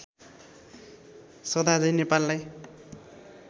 सदा झैं नेपाललाई